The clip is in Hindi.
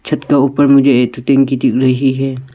छठ के ऊपर मुझे एडिटिंग की दिख रही है।